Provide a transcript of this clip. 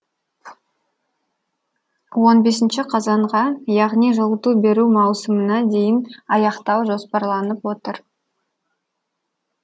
он бесінші қазанға яғни жылыту беру маусымына дейін аяқтау жоспарланып отыр